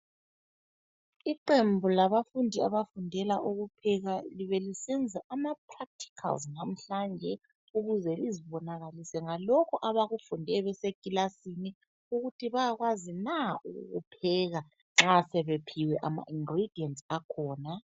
Iqembu labafundi ,abafundela ukupheka .Libelisenza ama practicals namhlanje ukuze lizibonakalise ngalokho abakufunde besekilasini .Ukuthi bayakwazi na ukukupheka nxa sebephiwe ama ingredients akhona .